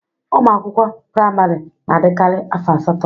Ụmụ akwụkwọ praịmari na adikari afọ asatọ.